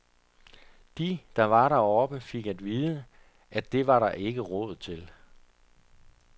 De, der var deroppe, fik at vide, at det var der ikke råd til.